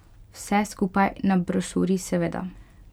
Vse skupaj na briošu, seveda.